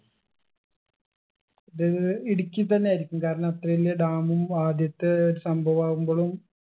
ഇത് ഇടുക്കി തന്നെ ആയിരിക്കും കാരണം അത്ര വല്യ dam ഉം ആദ്യത്തെ സംഭവാവുമ്പോളും